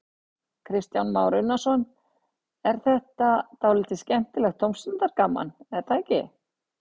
Kristján Már Unnarsson: En þetta er dálítið skemmtilegt tómstundagaman, er það ekki?